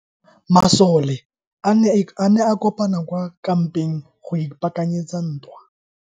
Masole a ne a kopane kwa kampeng go ipaakanyetsa ntwa.